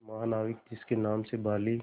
महानाविक जिसके नाम से बाली